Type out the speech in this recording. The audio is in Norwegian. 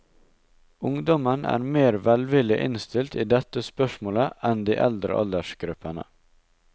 Ungdommen er mer velvillig innstilt i dette spørsmålet enn de eldre aldersgruppene.